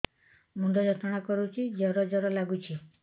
ମୁଣ୍ଡ ଯନ୍ତ୍ରଣା କରୁଛି ଜର ଜର ଲାଗୁଛି